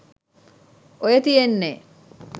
ඔය තියෙන්නේ